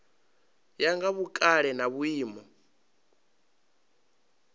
ya nga vhukale na vhuimo